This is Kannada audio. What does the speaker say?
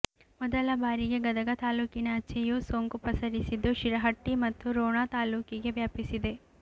ಮೊದಲ ಬಾರಿಗೆ ಗದಗ ತಾಲೂಕಿನಾಚೆಯೂ ಸೋಂಕು ಪಸರಿಸಿದ್ದು ಶಿರಹಟ್ಟಿ ಮತ್ತು ರೋಣ ತಾಲೂಕಿಗೂ ವ್ಯಾಪಿಸಿದೆ